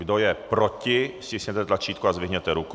Kdo je proti, stiskněte tlačítko a zdvihněte ruku.